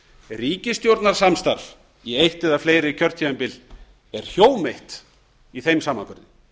ríkisstjórnarsamstarfs í eitt eða fleiri kjörtímabil er hjóm eitt í þeim samanburði